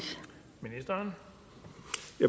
har